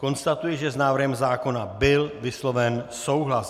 Konstatuji, že s návrhem zákona byl vysloven souhlas.